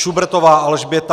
Šubrtová Alžběta